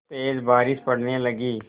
तेज़ बारिश पड़ने लगी